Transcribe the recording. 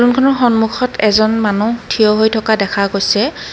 সন্মুখত এজন মানুহ থিয় হৈ থকা দেখা গৈছে।